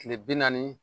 Kile bi naani